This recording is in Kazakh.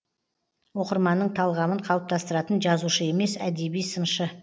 оқырманның талғамын қалыптастыратын жазушы емес әдеби сыншы